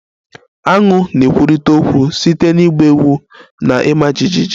Aṅu ga-ekwurịta okwu site na ịgba egwu na ịma jijiji